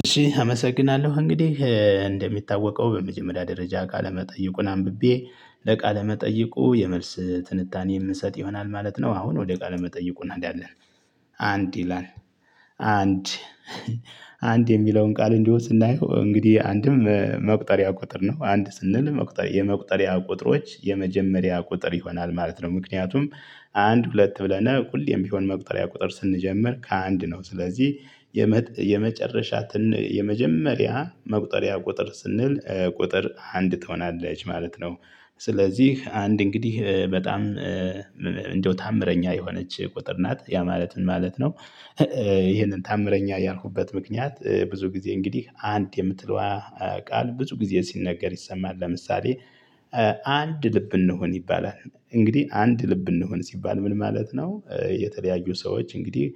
እሺ አመሰግናለሁ እንግዲህ እንደሚታወቀው በመጀመሪያ ደረጃ ካለመጠየቁን አንብቤ ለቃለ መጠየቁ የመልስ ትንታኔ የምሰጥ ይሆናል ማለት ነው። አሁን ወደ ቃለ መጠይቁ እንሄዳለን። አንድ ይላል። አንድ። አንድ የሚለውን ቃል እንዲሁ ስናየው እንግዲህ አንድም መቁጠሪያ ቁጥር ነው አንድ ስንል የመቁጠሪያ ቁጥሮች የመጀመሪያ ቁጥር ይሆናል ማለት ነው። ምክንያቱም አንድ ሁለት ብለን ሁሌም ቢሆን መቁጠሪያ ቁጥር ስንጀምር ከአንድ ነው። ስለዚህ የመጨረሻትን የመጀመሪያ መቁጠሪያ ቁጥር ስንል ቁጥር አንድ ትሆናለች ማለት ነው። ስለዚህ አንድ እንግዲህ በጣም እንደው ታአምረኛ የሆነች ቁጥር ናት ያ ማለትን ማለት ነው። ይሄንን ተአምረኛ ያልኩበት ምክንያት ብዙ ጊዜ እንግዲህ አንድ የምትለዋ ቃል ብዙ ጊዜ ሲነገር ይሰማል። ለምሳሌ አንድ ልብ እንሁን ይባላል። እንግዲህ አንድ ልብ እንሁን ሲባል ምን ማለት ነው? የተለያዩ ሰዎች እንግዲህ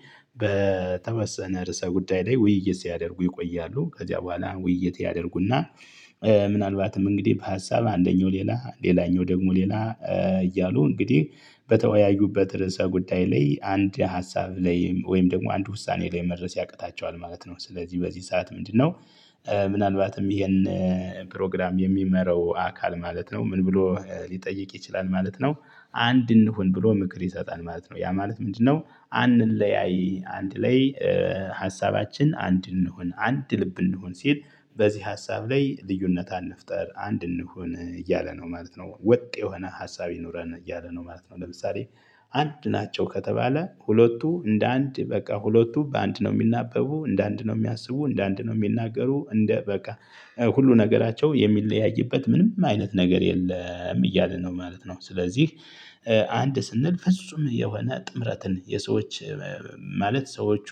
በተወሰነ ርዕሰ ጉዳይ ላይ ውይይት ሲያደርጉ ይቆያሉ ከዚያ በኋላ ውይይት ያደርጉና። ምናልባትም እንግዲህ በሀሳብ አንደኛው ሌላ ሌላኛው ደግሞ ሌላ እያሉ እንግዲህ በተወያዩበት ርዕሰ ጉዳይ ላይ አንድ ሀሳብ ላይም ወይም ደግሞ አንድ ውሳኔ ላይ መድረስ ያቅታቸዋል ማለት ነው። ስለዚህ በዚህ ሰዓት ምንድነው? ምናልባትም ይሄን ፕሮግራም የሚመራው አካል ማለት ነው ምን ብሎ ሊጠይቅ ይችላል ማለት ነው። አንድ እንሁን ብሎ ምክር ይሰጣል ማለት ነው። ያ ማለት ምንድነው? አንለያይ አንድ ላይ ሀሳባችን አንድ እንሁን አንድ ልብ እንሁን ሲል። በዚህ ሀሳብ ላይ ልዩነት አንፍጠር አንድ እንሁን እያለ ነው ማለት ነው። ወጥ የሆነ ሀሳብ ይኑረን እያለ ነው ማለት ነው። ለምሳሌ አንድ ናቸው ከተባለ ሁለቱ እንደ አንድ በቃ ሁለቱ በአንድ ነው የሚናበቡ እንደ አንድ ነው እሚያስቡ እንደ አንድ ነው እሚናገሩ እንደ በቃ ሁሉ ነገራቸው የሚለያይበት ምንም አይነት ነገር የለም እያለ ነው ማለት ነው። ስለዚህ አንድ ስንል ፍጹም የሆነ ጥምረትን የሰዎች ማለት ሰዎቹ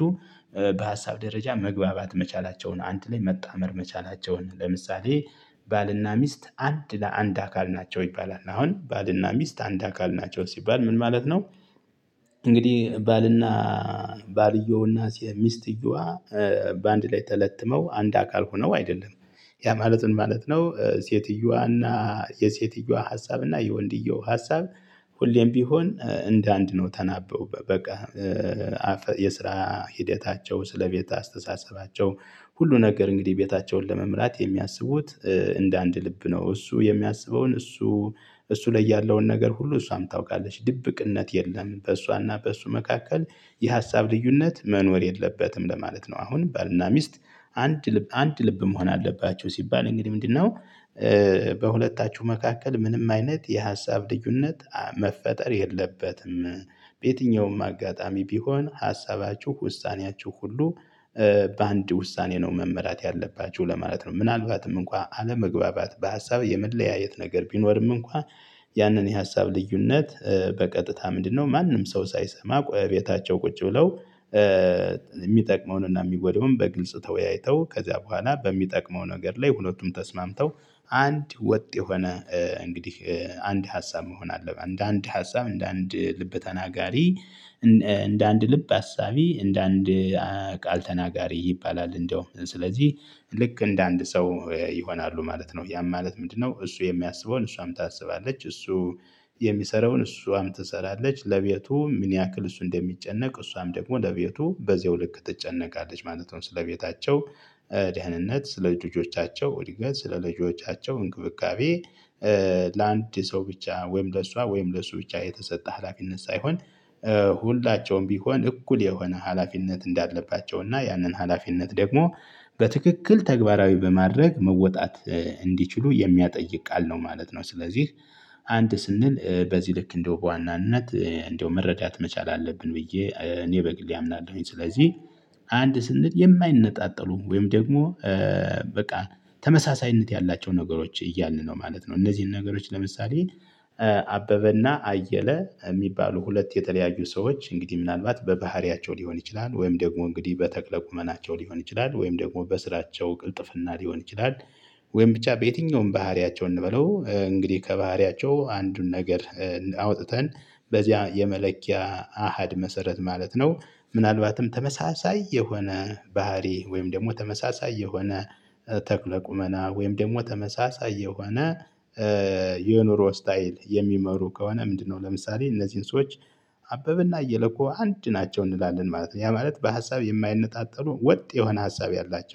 በሀሳብ ደረጃ መግባባት መቻላቸውን አንድ ላይ መጣመር መቻላቸውን ለምሳሌ። ባልና ሚስት አንድ ለአንድ አካል ናቸው ይባላል። አሁን ባልና ሚስት አንድ አካል ናቸው ሲባል ምን ማለት ነው? እንግዲህ ባልና ባልየውና ሚስትየዋ በአንድ ላይ ተለትመው አንድ አካል ሆነው አይደለም። ያ ማለት ምን ማለት ነው? ሴትየዋና የሴትየዋ ሀሳብና የወንድየዋ ሀሳብ ሁሌም ቢሆን እንደ አንድ ነው ተናበው በቃ የስራ ሂደታቸው ስለቤት አስተሳሰባቸው ሁሉ ነገር እንግዲህ ቤታቸውን ለመምራት የሚያስቡት እንደ አንድ ልብ ነው። እሱ የሚያስበውን እሱ እሱ ላይ ያለውን ነገር ሁሉ እሷም ታውቃለች ድብቅነት የለም። በእሷና በእሱ መካከል የሀሳብ ልዩነት መኖር የለበትም ለማለት ነው። አሁን ባልና ሚስት አንድ ልብ አንድ ልብ መሆን አለባቸው ሲባል እንግዲህ ምንድነው? በሁለታችሁ መካከል ምንም አይነት የሀሳብ ልዩነት መፈጠር የለበትም በየትኛውም አጋጣሚ ቢሆን ሀሳባችሁ ውሳኔያችሁ ሁሉ በአንድ ውሳኔ ነው መመራት ያለባችሁ ለማለት ነው። ምን አልባትም እንኳ አለመግባባት በሀሳብ የመለያየት ነገር ቢኖርም እንኳን ያንን የሀሳብ ልዩነት በቀጥታ ምንድነው ማንም ሰው ሳይሰማ ቤታቸው ቁጭ ብለው። እሚጠቅመውንና የሚጎደውን በግልጽ ተወያይተው ከዚያ በኋላ በሚጠቅመው ነገር ላይ ሁለቱም ተስማምተው አንድ ወጥ የሆነ እንግዲህ አንድ ሀሳብ መሆን አለበት። እነደ አንድ ሀሳብ እንደ አንድ ልበ ተናጋሪ። እንደ አንድ ልብ አሳቢ እንደ አንድ ቃል ተናጋሪ ይባላል። እንደው ስለዚህ ልክ እንደ አንድ ሰው ይሆናሉ ማለት ነው። ያም ማለት ምንድነው? እሱ የሚያስበውን እሷም ታስባለች እሱ የሚሰራውን እሷም ትሰራለች ለቤቱ ምን ያክል እሱ እንደሚጨነቅ እሷም ደግሞ ለቤቱ በዚያው ልክ ትጨነቃለች ማለት ነው። ስለቤታቸው ደህንነት ስለ ልጆቻቸው እድገት ስለ ልጆቻቸው እንክብካቤ። ለአንድ ሰው ብቻ ወይም ለሷ ወይም ለሱ ብቻ የተሰጠ ሀላፊነት ሳይሆን ሁላቸውም ቢሆን እኩል የሆነ ሀላፊነት እንዳለባቸውና ያንን ሀላፊነት ደግሞ በትክክል ተግባራዊ በማድረግ መወጣት እንዲችሉ የሚያጠይቅ ቃል ነው ማለት ነው። ስለዚህ አንድ ስንል በዚህ ልክ እንደው በዋናነት እንደው መረዳት መቻል አለብን ብዬ እኔ በግል አምናለሁኝ ነው። ስለዚህ አንድ ስንል የማይነጣጠሉ ወይም ደግሞ በቃ ተመሳሳይነት ያላቸው ነገሮች እያልን ነው ማለት ነው። እነዚህን ነገሮች ለምሳሌ አበበና አየለ እሚባሉ ሁለት የተለያዩ ሰዎች እንግዲህ ምናልባት በባህሪያቸው ሊሆን ይችላል ወይም ደግሞ እንግዲህ በተክለ ቁመናቸው ሊሆን ይችላል ወይም ደግሞ በስራቸው ቅልጥፍና ሊሆን ይችላል። ወይም ብቻ በየትኛውም ባህሪያቸው እንበለው እንግዲህ ከባህሪያቸው አንዱን ነገር አውጥተን በዚያ የመለኪያ አሃድ መሰረት ማለት ነው። ምናልባትም ተመሳሳይ የሆነ ባህሪ ወይም ደግሞ ተመሳሳይ የሆነ ተክለ ቁመና ወይም ደግሞ ተመሳሳይ የሆነ የኑሮ ስታይል የሚመሩ ከሆነ ምንድነው? ለምሳሌ እነዚህን ሰዎች አበበ እና እየለ እኮ አንድ ናቸው እንላለን ማለት ነው። ያ ማለት በሀሳብ የማይነጣጠሉ ወጥ የሆነ ሀሳብ ያላቸው